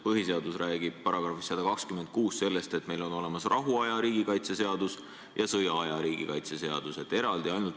Põhiseaduse § 126 räägib sellest, et meil on olemas rahuaja riigikaitse seadus ja sõjaaja riigikaitse seadus.